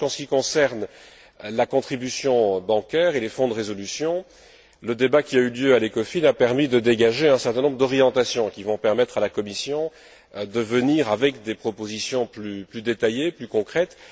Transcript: Je pense qu'en ce qui concerne la contribution bancaire et les fonds de résolution, le débat qui a eu lieu à l'Ecofin a permis de dégager un certain nombre d'orientations qui vont permettre à la Commission de présenter des propositions plus détaillées, plus concrètes.